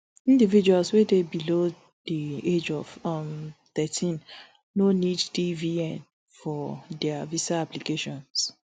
individuals wey dey below di age of um thirteen no need dvn for dia visa applications